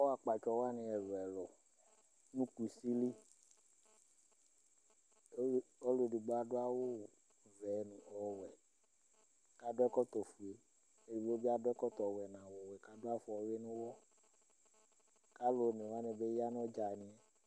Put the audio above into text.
akɔ akpatsɔ wʋani ɛlu ɛlu nu kusi li, ɔlu edigbo adu awu vɛ nu ɔwɛ, ku adu ɛkɔtɔ fue, edigbo bi adu ɛkɔtɔ wɛ nu awu wɛ ku adu afɔwʋi nu uwɔ ku alu one wʋani bi ya nu ɔdzani